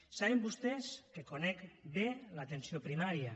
saben vostès que conec bé l’atenció primària